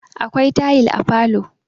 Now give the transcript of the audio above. akwai tayil a falo